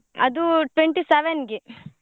ಅದು twenty-seven ಗೆ.